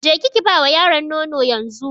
Ki je Ki ba wa yaron nono yanzu.